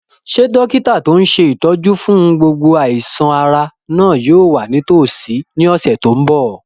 Ṣé dókítà tó n ṣe ìtọ́jú fún gbogbo àìsàn-ara náà yóò wà nítòsí ní ọ̀sẹ̀ tó n bọ̀?